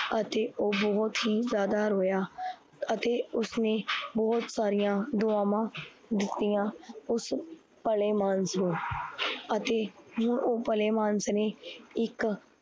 ਅਤੇ ਓਹ ਬਹੁਤ ਹੀ ਯਾਦਾ ਰੋਇਆ ਅਤੇ ਉਸਨੇ ਬਹੁਤ ਸਾਰੀਆ ਦੋਆਵਾਂ ਦਿੱਤੀਆ, ਉਸ ਭਲੇਮਾਨਾਸ ਨੂ ਅਤੇ ਹੁਣ ਓਹ ਭਲੇਮਾਨਾਸ ਨੇ ਇੱਕ